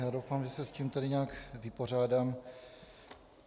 Já doufám, že se s tím tady nějak vypořádám.